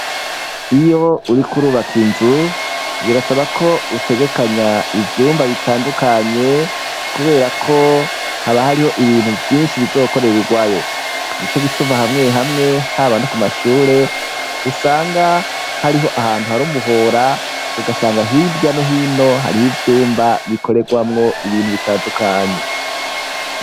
Iyo uriko urubaka inzu birasaba ko utegekanya ivyumba bitandukanye kubera ko haba hariho ibintu vyinshi bizokorereurwayo nico gituma hamweye hamwe haba no ku mashure usanga hariho ahantu hariho umuhora ugasanga hirya no hino hariho ivyumba bikorerwamwo ibintu bitandukanye.